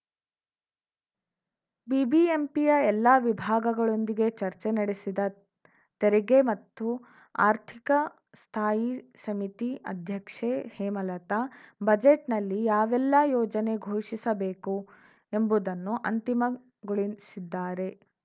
ಬಿಬಿಎಂಪಿಯ ಎಲ್ಲ ವಿಭಾಗಗಳೊಂದಿಗೆ ಚರ್ಚೆ ನಡೆಸಿರುವ ತೆರಿಗೆ ಮತ್ತು ಆರ್ಥಿಕ ಸ್ಥಾಯಿ ಸಮಿತಿ ಅಧ್ಯಕ್ಷೆ ಹೇಮಲತಾ ಬಜೆಟ್‌ನಲ್ಲಿ ಯಾವೆಲ್ಲ ಯೋಜನೆ ಘೋಷಿಸಬೇಕು ಎಂಬುದನ್ನು ಅಂತಿಮಗೊಳಿಸಿದ್ದಾರೆ